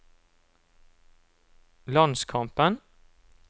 landskampen